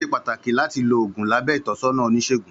Ó ṣé pàtàkì láti lo oògùn lábẹ ìtọ́sọ́nà Oníṣègùn